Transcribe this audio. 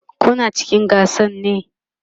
Kuna cikin gasan ne?